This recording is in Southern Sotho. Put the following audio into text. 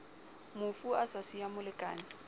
mofu a sa siya molekane